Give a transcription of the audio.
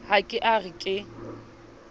ha ke a re ke